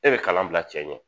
E bɛ kalan bila cɛ ɲɛ.